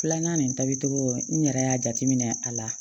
Filanan nin tabi cogo n yɛrɛ y'a jateminɛ a la